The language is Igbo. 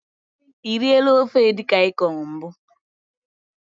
E riela ofe edikaikong mbụ?